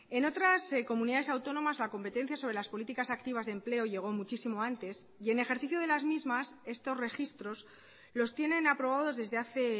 en otras comunidades autónomas la competencia sobre las políticas activas de empleo llegó muchísimo antes y en ejercicio de las mismas estos registros los tienen aprobados desde hace